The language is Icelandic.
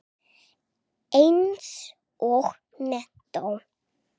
Eins og menntó.